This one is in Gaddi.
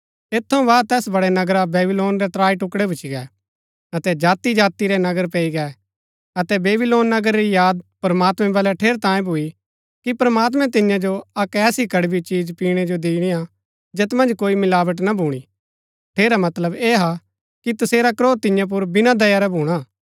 ऐत थऊँ बाद तैस बड़ै नगरा बेबीलोन रै त्राई टुकड़ै भूच्ची गै अतै जाति जाति रै नगर पैई गै अतै बेबीलोन नगर री याद प्रमात्मैं बलै ठेरैतांये भूई कि प्रमात्मैं तिन्या जो अक्क ऐसी कड़बी चिज पीणै जो दिणी हा जैत मन्ज कोई मिलावट ना भूणी ठेरा मतलब ऐह हा कि तसेरा क्रोध तिन्या पुर बिना दया रै भूणा